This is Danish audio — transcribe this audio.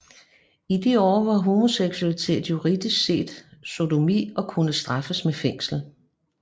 I de år var homoseksualitet juridisk set sodomi og kunne straffes med fængsel